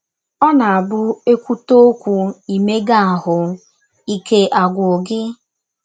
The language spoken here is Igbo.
Ọ̀ na - abụ e kwụte ọkwụ “ imega ahụ́ ” ike agwụ gị?